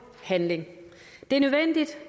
handling det